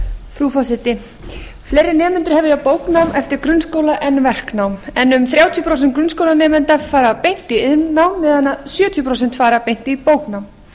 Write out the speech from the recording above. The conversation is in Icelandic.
frú forseti fleiri nemendur hefja bóknám eftir grunnskóla en verknám en um þrjátíu prósent grunnskólanemenda fara beint í iðnnám meðan að sjötíu prósent fara beint í bóknám